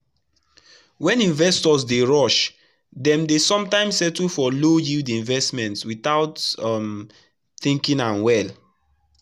when investors dey rush dem dey sometimes settle for low-yield investments without um thinking am well.